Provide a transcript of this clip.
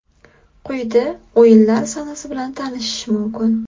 Quyida o‘yinlar sanasi bilan tanishish mumkin.